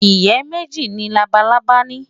Ìyẹ́ méjì ni labalábá ní.